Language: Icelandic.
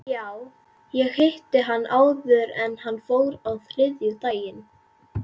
Já, ég hitti hann áður en hann fór á þriðjudaginn.